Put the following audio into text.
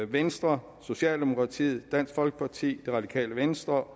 venstre socialdemokratiet dansk folkeparti det radikale venstre